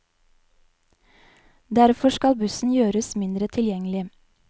Derfor skal bussen gjøres mindre tilgjengelig.